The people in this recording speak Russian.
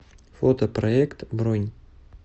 фотопроект бронь